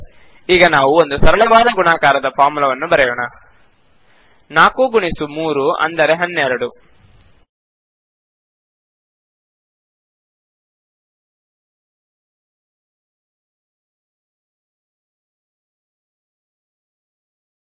ಸರಿ ಈಗ ನಾವು ಒಂದು ಸರಳವಾದ ಗುಣಾಕಾರದ ಫಾರ್ಮುಲಾವನ್ನು ಬರೆಯೋಣ